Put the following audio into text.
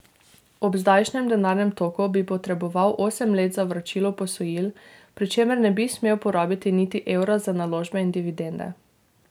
Ob zdajšnjem denarnem toku bi potreboval osem let za vračilo posojil, pri čemer ne bi smel porabiti niti evra za naložbe in dividende.